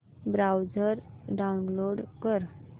browser download कर